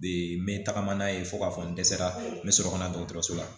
n bɛ tagama n'a ye fo k'a fɔ n dɛsɛra n bɛ sɔrɔ ka na dɔgɔtɔrɔso la